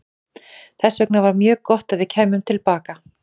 Þess vegna var mjög gott að við kæmum til baka.